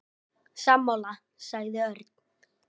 Sammála sagði Örn.